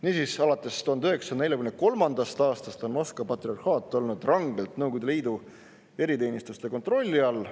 Niisiis, alates 1943. aastast on Moskva patriarhaat olnud rangelt Nõukogude Liidu eriteenistuste kontrolli all.